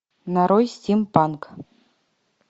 нарой стимпанк